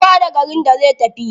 Kowa da garin da zai tafi.